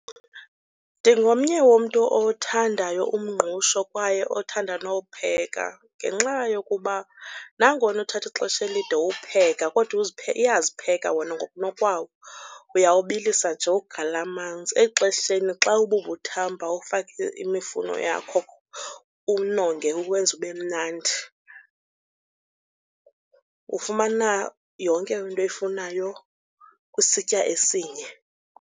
Ndingomnye womntu owuthandayo umngqusho kwaye othanda nowupheka ngenxa yokuba nangona uthatha ixesha elide uwupheka kodwa uyazipheka wona ngokunokwawo. Uyawubilisa nje uwugalele amanzi, exesheni xa ububuthamba ufake imifuno yakho uwunonge uwenze ube mnandi. Ufumana yonke into oyifunayo kwisitya esinye.